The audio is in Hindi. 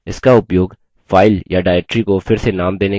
इसका उपयोग file या directory को फिर से नाम देने के लिए किया जाता है